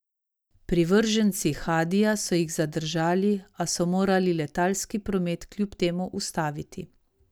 Privrženci Hadija so jih zadržali, a so morali letalski promet kljub temu ustaviti.